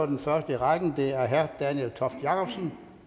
den første i rækken er herre daniel toft jakobsen